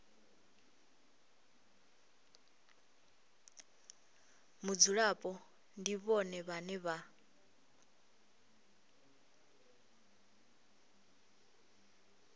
mudzulapo ndi vhone vhane vha